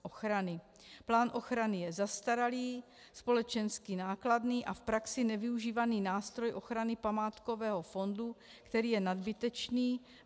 Plán ochrany je zastaralý, společensky nákladný a v praxi nevyužívaný nástroj ochrany památkového fondu, který je nadbytečný.